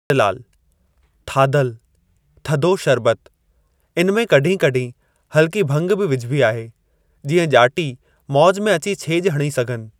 नंदलालु: थाधल (थधो शर्बतु) इन में कड॒हिं कड॒हिं हल्की भंग बि विझबी आहे, जीअं ॼाटी मौज में अची छेज॒ हणी सघनि।